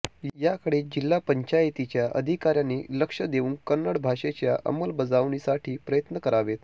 याकडे जिल्हा पंचायतीच्या अधिकार्यांनी लक्ष देऊन कन्नड भाषेच्या अंमलबजावणीसाठी प्रयत्न करावेत